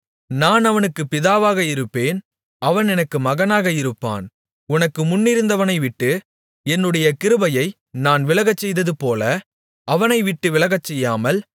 நான் அவனுக்குப் பிதாவாக இருப்பேன் அவன் எனக்கு மகனாக இருப்பான் உனக்கு முன்னிருந்தவனைவிட்டு என்னுடைய கிருபையை நான் விலகச்செய்ததுபோல அவனைவிட்டு விலகச்செய்யாமல்